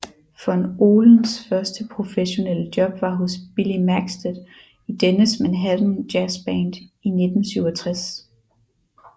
Von Ohlens første professionelle job var hos Billy Maxted i dennes Manhattan Jazzband i 1967